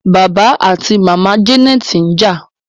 bàbá ati màmá Janet's nja.